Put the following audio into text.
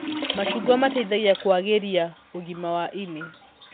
Macungwa mateithagia kũagĩria ũgima wa ini